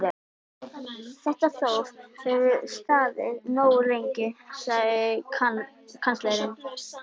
Þetta þóf hefur staðið nógu lengi, sagði kanslarinn.